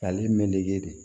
Ale meleke de